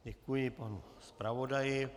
Děkuji panu zpravodaji.